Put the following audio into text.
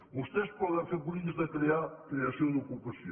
vostès poden fer polítiques de crear creació d’ocupació